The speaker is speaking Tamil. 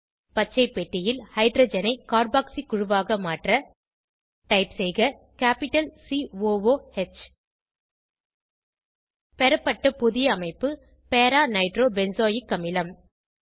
பச்சை பெட்டியில் ஹைட்ரஜனை கார்பாக்ஸி குழுவாக மாற்ற டைப் செய்க capital C O O H பெறப்பட்ட புதிய அமைப்பு பேரா நைட்ரோ பென்சாயில் அமிலம்